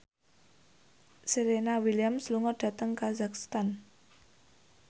Serena Williams lunga dhateng kazakhstan